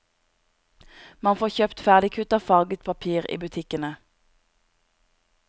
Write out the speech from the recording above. Man får kjøpt ferdigkuttet farget papir i butikkene.